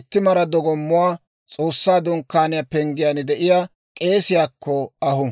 itti mara dogommuwaa S'oossaa Dunkkaaniyaa penggiyaan de'iyaa k'eesiyaakko ahu.